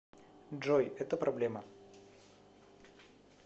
джой это проблема